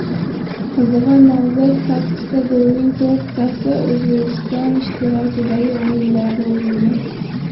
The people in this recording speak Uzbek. Qizig‘i nomzod sakkizta golning to‘rttasi O‘zbekiston ishtirokidagi o‘yinlarda urilgan.